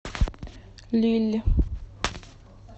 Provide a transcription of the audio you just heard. лилль